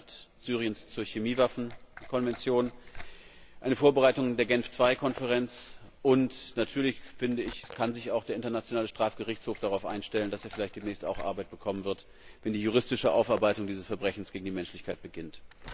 Der Beitritt Syriens zur Chemiewaffen Konvention, die Vorbereitung der Genf II Konferenz, und natürlich kann sich der Internationale Strafgerichtshof darauf einstellen, dass er demnächst vielleicht auch Arbeit bekommen wird, wenn die juristische Aufarbeitung dieses Verbrechens gegen die Menschlichkeit beginnt.